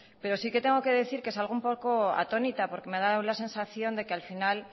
pero sí que tengo que decir que salgo un poco atónita porque me ha dado la sensación de que al final